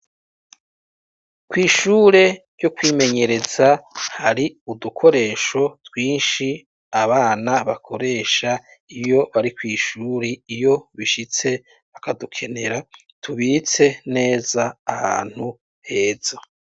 Kw'ishure ryo kwimenyereza hari udukoresho twinshi abana bakoresha iyo bari kw'ishure iyo bishitse bakadukenera tubitse neza ahantu heza.